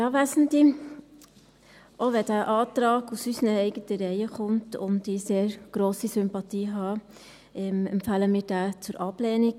Auch wenn dieser Antrag aus unseren eigenen Reihen kommt und ich sehr grosse Sympathien habe, empfehlen wir diesen zur Ablehnung.